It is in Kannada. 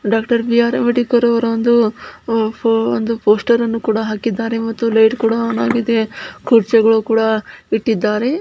ಡಾಕ್ಟರ್ ಬಿ.ಆರ್ ಅಂಬೇಡ್ಕರ್ ರವರ ಒಂದು ಒಂದು ಪೋಸ್ಟರ್ ಹಾಕಿದ್ದಾರೆ ಮತ್ತು ಲೈಟ್ ಕೂಡ ಆನ್ ಆಗಿದೆ ಕುರ್ಚಿಗಳು ಕೂಡ ಇಟ್ಟಿದ್ದಾರೆ.